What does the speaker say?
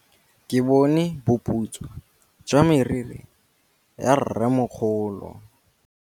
Ke bone boputswa jwa meriri ya rrêmogolo.